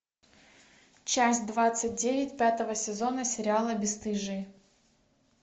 часть двадцать девять пятого сезона сериала бесстыжие